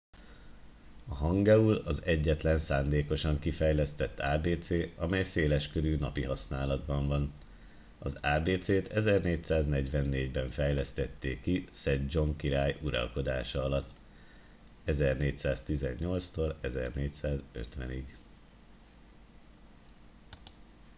a hangeul az egyetlen szándékosan kifejlesztett ábécé amely széleskörű napi használatban van. az ábécét 1444-ben fejlesztették ki szedzsong király uralkodása alatt 1418-1450